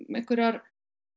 einhverjar